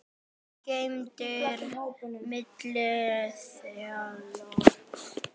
geymdir milli þilja.